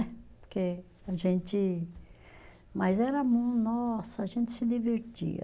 Porque a gente, mas era, nossa, a gente se divertia.